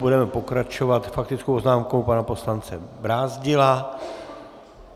Budeme pokračovat faktickou poznámkou pana poslance Brázdila.